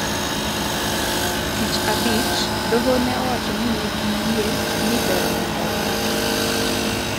tich abich, doho ne owacho ni ne giyie ni ber mondo omake ,